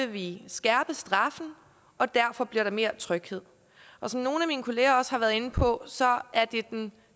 vi skærpe straffen og derfor bliver der mere tryghed som nogle af mine kollegaer også har været inde på er det den